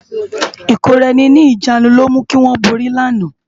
Ikóráèni ni ijánú ló mú kiwòn bóri làná